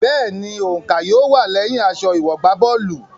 Bẹ́ẹ̀ni, òǹkà yóò wà lẹyìn aṣọ ìwọ̀gbábọ́ọ̀lù.